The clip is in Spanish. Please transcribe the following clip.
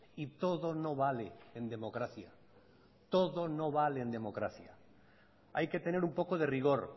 y todo no vale en democracia todo no vale en democracia hay que tener un poco de rigor